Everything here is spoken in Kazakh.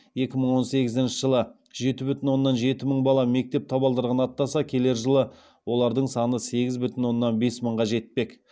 екі мың он сегізінші жылы жеті бүтін оннан жеті мың бала мектеп табалдырығын аттаса келер жылы олардың саны сегіз бүтін оннан бес мыңға жетпек